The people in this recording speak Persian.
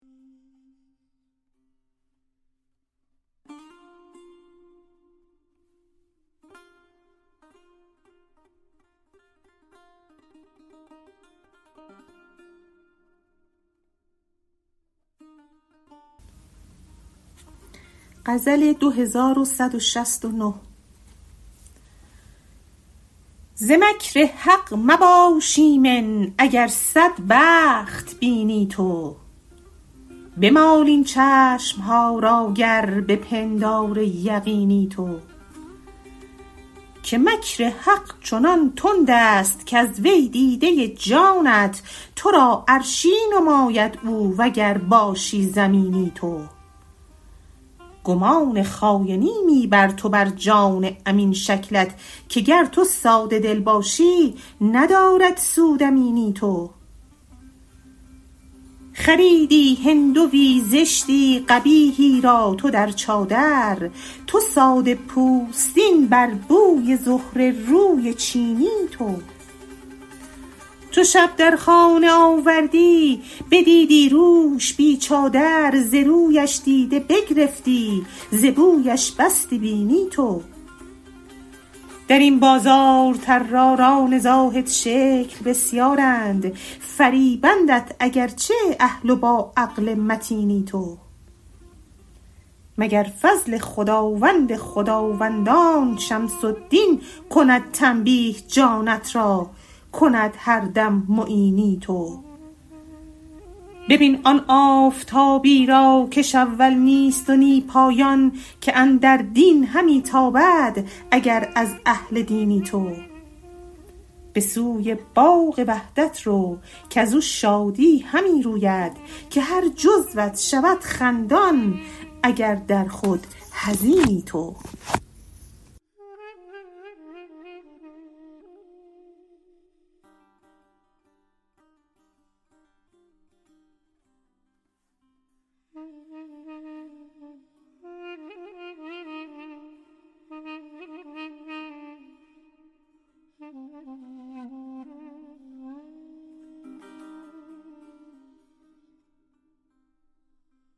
ز مکر حق مباش ایمن اگر صد بخت بینی تو بمال این چشم ها را گر به پندار یقینی تو که مکر حق چنان تند است کز وی دیده جانت تو را عرشی نماید او و گر باشی زمینی تو گمان خاینی می بر تو بر جان امین شکلت که گر تو ساده دل باشی ندارد سود امینی تو خریدی هندوی زشتی قبیحی را تو در چادر تو ساده پوستین بر بوی زهره روی چینی تو چو شب در خانه آوردی بدیدی روش بی چادر ز رویش دیده بگرفتی ز بویش بستی بینی تو در این بازار طراران زاهدشکل بسیارند فریبندت اگر چه اهل و باعقل متینی تو مگر فضل خداوند خداوندان شمس الدین کند تنبیه جانت را کند هر دم معینی تو ببین آن آفتابی را کش اول نیست و نی پایان که اندر دین همی تابد اگر از اهل دینی تو به سوی باغ وحدت رو کز او شادی همی روید که هر جزوت شود خندان اگر در خود حزینی تو